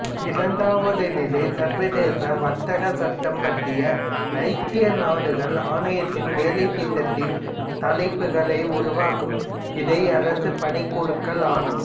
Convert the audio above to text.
இரண்டாவது நிலை சர்வதேச வர்த்தக சட்டம் பற்றி ஐக்கிய நாடுகள் ஆணையத்தின் வேலைத்திட்டத்தின் தலைப்புகளை உருவாக்கும் இடைஅரசு பணிக்குழுக்கள் ஆகும்